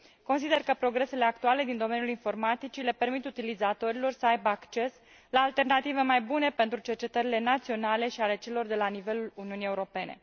Consider că progresele actuale din domeniul informaticii le permit utilizatorilor să aibă acces la alternative mai bune pentru cercetările naționale și ale celor de la nivelul Uniunii Europene.